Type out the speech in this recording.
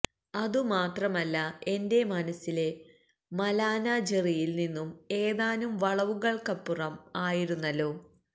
അതുമാത്രമല്ല എന്റെ മനസിലെ മലാന ജെറിയിൽ നിന്നും ഏതാനും വളവുകൾക്കപ്പുറം ആയിരുന്നല്ലോ